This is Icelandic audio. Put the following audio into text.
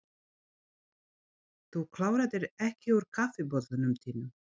Þú kláraðir ekki úr kaffibollanum þínum.